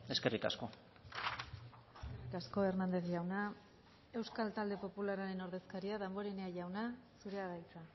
eskerrik asko eskerrik asko hernández jauna euskal talde popularraren ordezkaria damborenea jauna zurea da hitza